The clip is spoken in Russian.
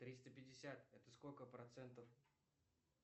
триста пятьдесят это сколько процентов